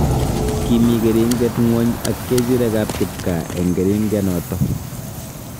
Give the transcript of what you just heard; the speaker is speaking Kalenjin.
Kimii keringet ngwony ak kerichek ab kipkaa eng keringenoto